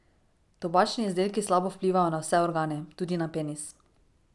Tobačni izdelki slabo vplivajo na vse organe, tudi na penis.